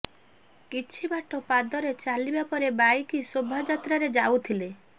କିଛି ବାଟ ପାଦରେ ଚାଲିବା ପରେ ବାଇକ୍ ଶୋଭାଯାତ୍ରାରେ ଯାଉଥିଲେ